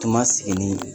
Tun ma sigi ni